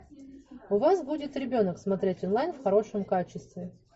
у вас будет ребенок смотреть онлайн в хорошем качестве